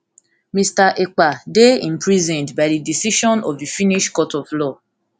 mr ekpa dey imprisoned by di decision of the finnish court of law